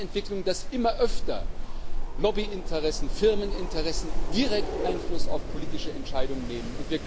Wir haben eine Entwicklung, dass immer öfter Lobbyinteressen, Firmeninteressen direkt Einfluss auf politische Entscheidungen nehmen.